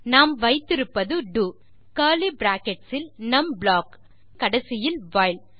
நாம் வைத்திருப்பது two curly brackets இல் நம் ப்ளாக் மேலும் கடைசியில் வைல்